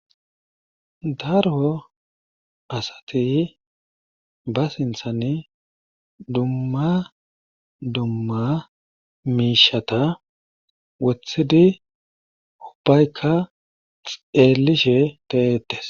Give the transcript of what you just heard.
Daro asati ba sinthani dumma dumma miisheta wothidi unbbayka xeellishe de7eetes.